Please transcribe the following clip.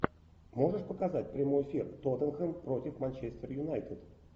можешь показать прямой эфир тоттенхэм против манчестер юнайтед